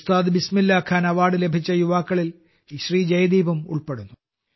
ഉസ്താദ് ബിസ്മില്ലാഖാൻ അവാർഡ് ലഭിച്ച യുവാക്കളിൽ ജയദീപും ഉൾപ്പെടുന്നു